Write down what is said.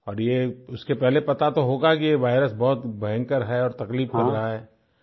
और ये उसके पहले पता तो होगा ही कि ये वायरस बहुत भयंकर है तकलीफ़ लग रहा है